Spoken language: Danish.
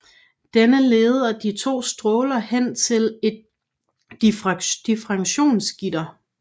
Denne leder de to stråler hen til et diffraktionsgitter